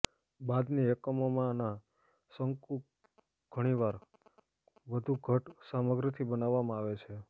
બાદની એકમોમાંના શંકુ ઘણીવાર વધુ ઘટ્ટ સામગ્રીથી બનાવવામાં આવે છે